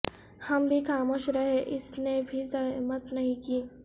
ہم بھی خاموش رہے اس نے بھی زحمت نہیں کی